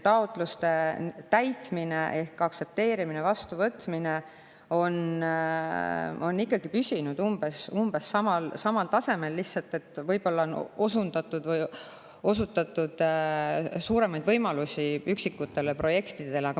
Taotluste täitmine ehk aktsepteerimine ja vastuvõtmine on ikkagi püsinud umbes samal tasemel, lihtsalt võib-olla on suuremaid võimalusi üksikutele projektidele.